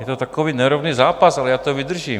Je to takový nerovný zápas, ale já to vydržím.